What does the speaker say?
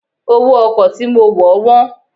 Owó ọkọ̀ tí mo wọ̀ wọ́n.